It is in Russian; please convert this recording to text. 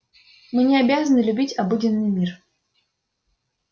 мы не обязаны любить обыденный мир